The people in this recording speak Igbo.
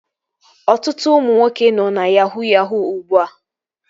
Ọtụtụ ụmụ nwoke nọ na yahuu yahuu ugbua